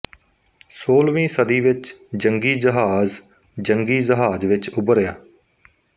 ਸੋਲ੍ਹਵੀਂ ਸਦੀ ਵਿੱਚ ਜੰਗੀ ਜਹਾਜ਼ ਜੰਗੀ ਜਹਾਜ਼ ਵਿੱਚ ਉਭਰਿਆ